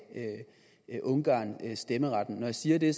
ungarn stemmeretten når jeg siger det